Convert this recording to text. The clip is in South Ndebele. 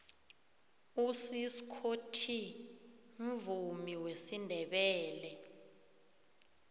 usiskho t mvumiwesindebele